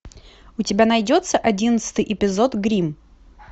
у тебя найдется одиннадцатый эпизод гримм